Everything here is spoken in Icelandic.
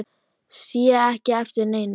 Sé ekki eftir neinu.